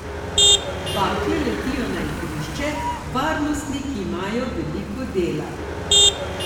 Bakle letijo na igrišče, varnostniki imajo veliko dela.